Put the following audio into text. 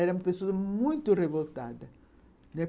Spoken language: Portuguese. Era uma pessoa muito revoltada, né?